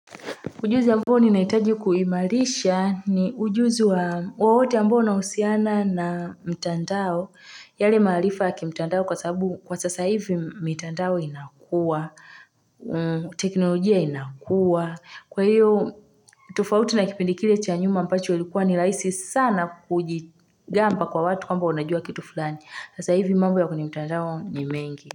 Ujuzi amboo ninahitaji kuimarisha ni ujuzi wa wowote ambao unahusiana na mtandao. Yale maarifa ya kimtandao kwa sababu kwa sasa hivi mtandao inakua, teknolojia inakua. Kwa hiyo, tofauti na kipindi kile cha nyuma ambacho ilikuwa ni rahisi sana kujigamba kwa watu kwamba unajua kitu fulani. Sasa hivi mambo ya kwenye mtandao ni mengi.